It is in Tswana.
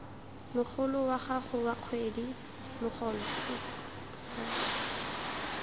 mogolo wa gago wa kgwedi